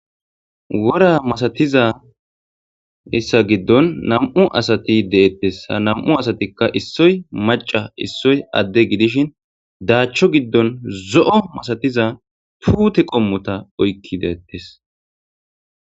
wora masatiza issa giddon nam7u asati deettes nam7u asatikka issoy maca issoy adde gidishin daachcho giddon zo7o masatiza tuute qommota oykki deettes